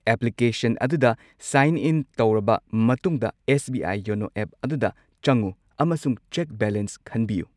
Application ꯑꯗꯨꯗ sign in ꯇꯧꯔꯕ ꯃꯇꯨꯡꯗ S. B. I. YONO app ꯑꯗꯨꯗ ꯆꯪꯉꯨ ꯑꯃꯁꯨꯡ ꯆꯦꯛ ꯕꯦꯂꯦꯟꯁ ꯈꯟꯕꯤꯌꯨ꯫